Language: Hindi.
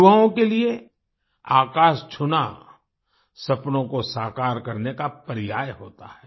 युवाओं के लिए आकाश छूना सपनों को साकार करने का पर्याय होता है